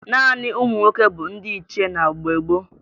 Naanị ụmụ nwoke bụ ndị ichie na mgbe gboo